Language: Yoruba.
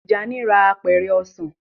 Tijani rà Apẹ̀rẹ̀ ọsán.